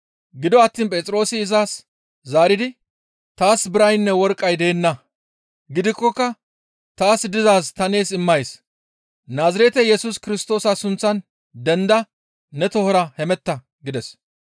Gido attiin Phexroosi izas zaaridi, «Taas biraynne worqqay deenna; gidikkoka taas dizaaz ta nees immays; Naazirete Yesus Kirstoosa sunththan dendada ne tohora hemetta» gides.